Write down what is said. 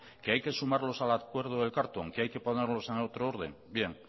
que hay que sumarlos al acuerdo del carlton que hay que ponerlos en otro orden bien